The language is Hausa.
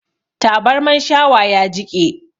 Tabarman shawa ya jiƙe